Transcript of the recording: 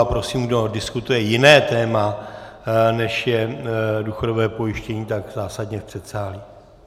A prosím, kdo diskutuje jiné téma, než je důchodové pojištění, tak zásadně v předsálí.